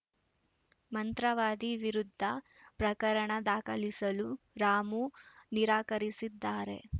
ಮಂತ್ರವಾದಿ ವಿರುದ್ಧ ಪ್ರಕರಣ ದಾಖಲಿಸಲು ರಾಮು ನಿರಾಕರಿಸಿದ್ದಾರೆ